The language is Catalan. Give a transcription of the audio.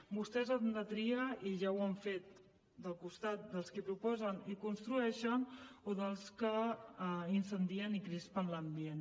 vostès han de triar i ja ho han fet del costat dels qui proposen i construeixen o dels que incendien i crispen l’ambient